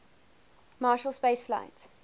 marshall space flight